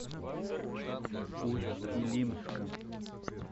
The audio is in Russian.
усть илимска